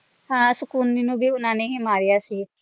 ਹਾਂ ਸ਼ਕੁਨੀ ਨੂੰ ਵੀ ਉਨ੍ਹਾਂ ਨੇ ਹੀ ਮਾਰੀਆ ਸੀ